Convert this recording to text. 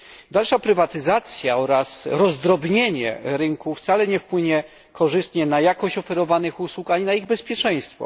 Dalsza prywatyzacja oraz rozdrobienie rynku wcale nie wpłynie korzystnie na jakość oferowanych usług ani na ich bezpieczeństwo.